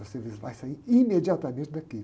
Você vai sair imediatamente daqui.